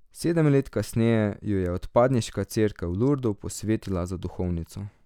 Sedem let kasneje jo je odpadniška cerkev v Lurdu posvetila za duhovnico.